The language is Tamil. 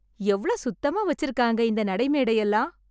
எவ்ளோ சுத்தமா வச்சுருக்காங்க இந்த நடை மேடையெல்லாம்.